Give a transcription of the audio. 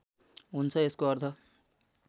हुन्छ यसको अर्थ